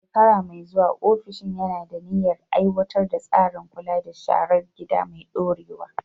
A shekara mai zuwa, ofishin yana da niyyar aiwatar da tsarin kula da sharar gida mai ɗorewa.